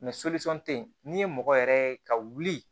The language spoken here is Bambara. Mɛ tɛ yen n'i ye mɔgɔ yɛrɛ ye ka wuli